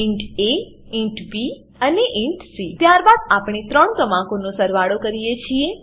int A int B અને int C ત્યારબાદ આપણે ત્રણ ક્રમાંકોનો સરવાળો કરીએ છીએ